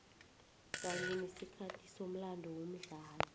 kanye nesikhathi somlando womdlalo